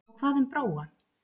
Og hvað um Bróa?